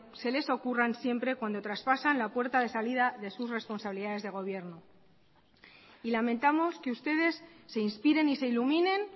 se les ocurran siempre cuando traspasan la puerta de salida de sus responsabilidades de gobierno y lamentamos que ustedes se inspiren y se iluminen